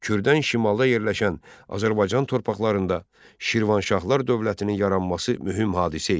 Kürdən şimalda yerləşən Azərbaycan torpaqlarında Şirvanşahlar dövlətinin yaranması mühüm hadisə idi.